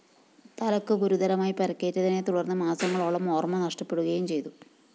തലയ്ക്ക് ഗുരുതരമായി പരിക്കേറ്റതിനെ തുടര്‍ന്ന് മാസങ്ങളോളം ഓര്‍മ നഷ്ടപ്പെടുകയും ചെയ്തു